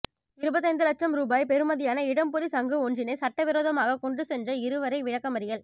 இருபத்தைந்து இலட்சம் ரூபாய் பெருமதியான இடம்புரி சங்கு ஒன்றினை சட்ட விரோதமாக கொண்டு சென்ற இருவரை விளக்கமறியல்